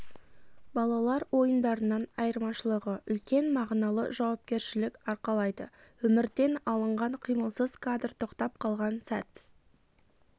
балалар ойындарынан айырмашылығы үлкен мағыналы жауапкершілік арқалайды өмірден алынған қимылсыз кадр тоқтап қалған сәт